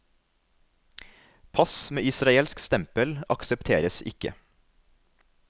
Pass med israelsk stempel aksepteres ikke.